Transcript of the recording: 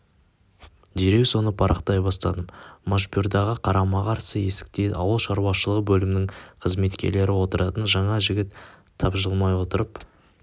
дереу соны парақтай бастадым машбюрдағы қарама-қарсы есікте ауыл шаруашылығы бөлімінің қызметкерлері отыратын жаңа жігіт тапжылмай отырып